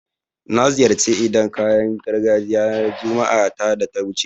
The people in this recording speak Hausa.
Na ziyarci idan kayan gargajiya ranar Juma'a ta da wuce